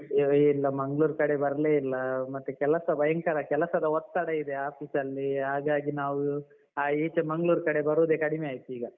ಇಲ್ಲ ಮಂಗ್ಳೂರ್ ಕಡೆ ಬರ್ಲೇ ಇಲ್ಲ ಮತ್ತೆ ಕೆಲಸ ಭಯಂಕರ ಕೆಲಸದ ಒತ್ತಡ ಇದೆ office ಲ್ಲಿ ಹಾಗಾಗಿ ನಾವು ಈಚೆ ಮಂಗ್ಳೂರ್ ಕಡೆ ಬರುದೆ ಕಡಿಮೆ ಆಯ್ತು ಈಗ.